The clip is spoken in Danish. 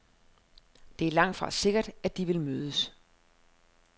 Det er langtfra sikkert, at de vil mødes.